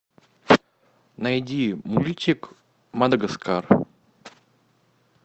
найди мультик мадагаскар